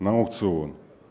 на аукцион